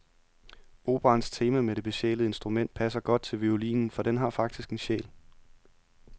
Operaens tema med det besjælede instrument passer godt til violinen, for den har faktisk en sjæl.